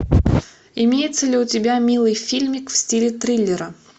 имеется ли у тебя милый фильмик в стиле триллера